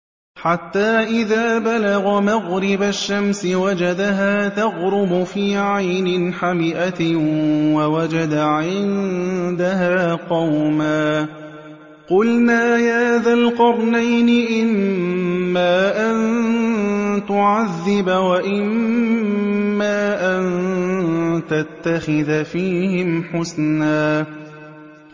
حَتَّىٰ إِذَا بَلَغَ مَغْرِبَ الشَّمْسِ وَجَدَهَا تَغْرُبُ فِي عَيْنٍ حَمِئَةٍ وَوَجَدَ عِندَهَا قَوْمًا ۗ قُلْنَا يَا ذَا الْقَرْنَيْنِ إِمَّا أَن تُعَذِّبَ وَإِمَّا أَن تَتَّخِذَ فِيهِمْ حُسْنًا